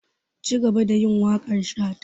Cigaba da yin waƙar shata!